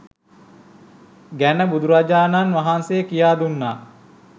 ගැන බුදුරජාණන් වහන්සේ කියා දුන්නා